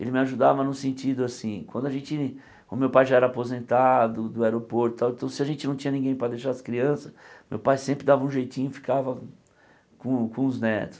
Ele me ajudava no sentido assim, quando a gente o meu pai já era aposentado do aeroporto e tal, então se a gente não tinha ninguém para deixar as crianças, meu pai sempre dava um jeitinho e ficava com com os netos.